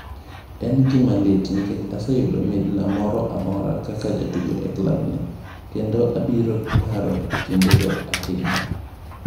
"En gima lit nikech aseyudo midila moro amora kaka jatugo e klabni, kendo abiro paro kindego ahinya."